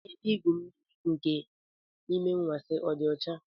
Ebe igwu mmiri nke Ime Anwansi ọ dị ọcha?